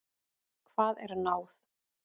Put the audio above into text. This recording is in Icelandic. Hvað er náð?